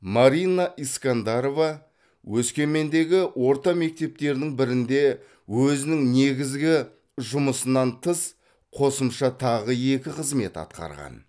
марина искандарова өскемендегі орта мектептердің бірінде өзінің негізгі жұмысынан тыс қосымша тағы екі қызмет атқарған